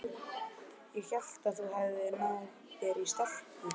Ég hélt að þú hefðir náð þér í stelpu.